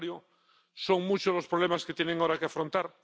Al contrario, son muchos los problemas que tienen ahora que afrontar.